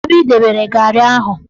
Kedu ebe ị dobere garị ahụ?